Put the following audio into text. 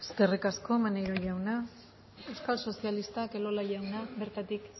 eskerrik asko maneiro jauna euskal sozialistak elola jauna bertatik